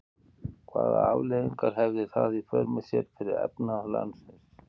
Hvaða afleiðingar hefði það í för með sér fyrir efnahag landsins?